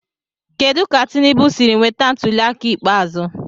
Kedu ka Tinubu siri nweta ntuliaka ikpeazụ.